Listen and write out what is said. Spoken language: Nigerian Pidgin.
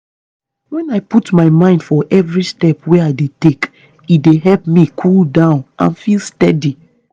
when i put my mind for every step wey i dey take e dey help me cool down and feel steady.